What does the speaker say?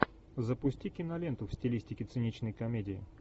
запусти киноленту в стилистике циничной комедии